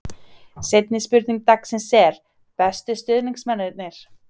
Seinni spurning dagsins er: Bestu stuðningsmennirnir?